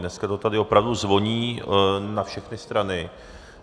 Dneska to tady opravdu zvoní na všechny strany.